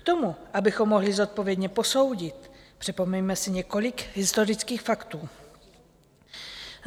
K tomu, abychom mohli zodpovědně posoudit, připomeňme si několik historických faktů.